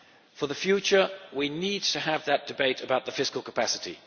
For the future we need to have that debate about the fiscal capacity.